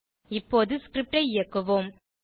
இப்போது ஸ்கிரிப்ட் ஐ இயக்குவோம்